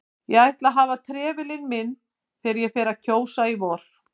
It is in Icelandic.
Ég ætla að hafa trefilinn minn þegar ég fer að kjósa í vor